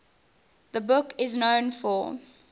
the book is known for